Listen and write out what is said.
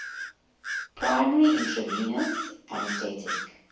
primary intravenous anesthetic